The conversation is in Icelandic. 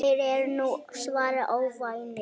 Þeir eru nú svarnir óvinir.